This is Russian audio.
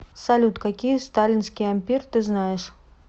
салют какие сталинский ампир ты знаешь